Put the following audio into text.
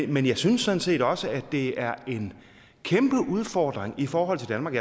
men jeg synes sådan set også at det er en kæmpe udfordring i forhold til danmark